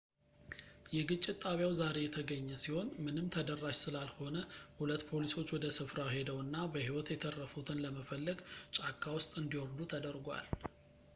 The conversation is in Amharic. የግጭት ጣቢያው ዛሬ የተገኘ ሲሆን ምንም ተደራሽ ስላልሆነ ሁለት ፖሊሶች ወደ ስፍራው ሄደው እና በሕይወት የተረፉትን ለመፈለግ ጫካ ውስጥ እንዲወርዱ ተደርጓል